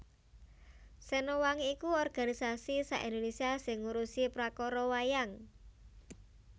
Sena Wangi iku organisasi sa Indonesia sing ngurusi prakara wayang